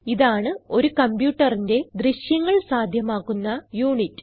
ഇതാണ് ഒരു കംപ്യൂട്ടറിന്റെ ദൃശ്യങ്ങൾ സാധ്യമാക്കുന്ന യുണിറ്റ്